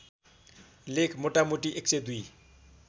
लेख मोटामोटी १०२